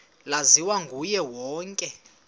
laziwa nguye wonke